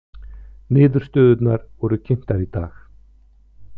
Niðurstöðurnar voru kynntar í dag